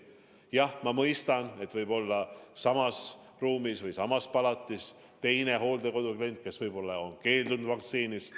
Jah, ma mõistan, et võib-olla on samas ruumis või samas palatis teine hooldekodu klient, kes on vaktsiinist keeldunud.